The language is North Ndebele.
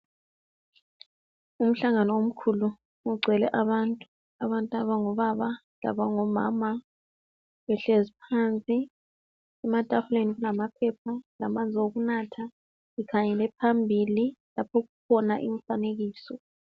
Umhlangano omkhulu ogcwele abantu. Abantu abangobaba labangomama behlezi phansi, ematafuleni kulamaphepha lamanzi okunatha, bekhangele phambili lapho okukhona imifanekiso.